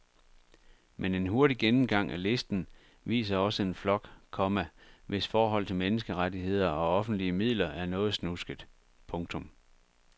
Men en hurtig gennemgang af listen viser også en flok, komma hvis forhold til menneskerettigheder og offentlige midler er noget snusket. punktum